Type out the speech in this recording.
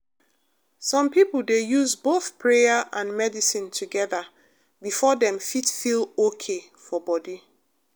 some people dey use both prayer and medicine together before dem fit feel okay for body.